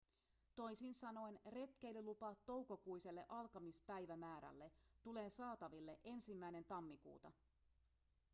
toisin sanoen retkeilylupa toukokuiselle alkamispäivämäärälle tulee saataville 1 tammikuuta